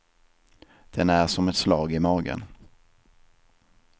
Den är som ett slag i magen.